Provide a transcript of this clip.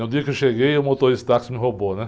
No dia que eu cheguei, o motorista de táxi me roubou, né?